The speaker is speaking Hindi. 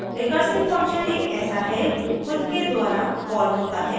recursive function एक ऐसा है जो खुद के द्वारा calls होता है